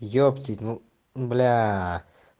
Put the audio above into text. ептить ну ну бляя